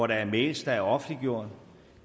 der er mails der er offentliggjort